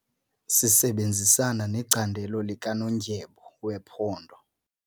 Sisebenzisana necandelo likanondyebo wephondo.